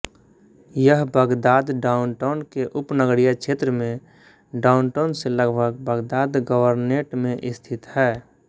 यह Baghdad downtown के उपनगरीय क्षेत्र में डाउनटाउन से लगभग बगदाद गवर्नेट में स्थित है